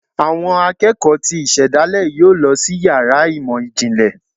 Awọn akeko tí isedale yọọ lọ si ìyára imọ jínlẹ